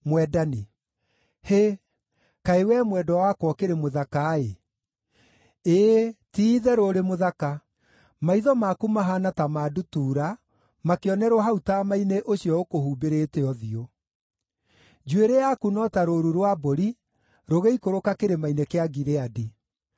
Hĩ, kaĩ wee mwendwa wakwa ũkĩrĩ mũthaka-ĩ! Ĩĩ ti-itherũ ũrĩ mũthaka! Maitho maku mahaana ta ma ndutura makĩonerwo hau taama-inĩ ũcio ũkũhumbĩrĩte ũthiũ. Njuĩrĩ yaku no ta rũũru rwa mbũri rũgĩikũrũka Kĩrĩma-inĩ kĩa Gileadi.